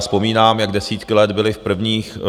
Vzpomínám, jak desítky let byly v prvních...